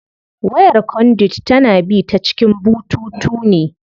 Wayar conduit tana bi ta cikin bututu ne.